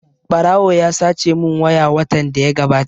Ɓarawo ya sace mun waya watan da ya gabata